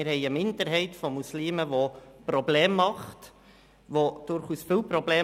Wir haben eine Minderheit von Muslimen, die Probleme macht – durchaus viele Probleme.